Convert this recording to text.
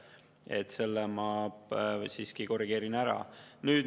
Seda ma siiski korrigeerin.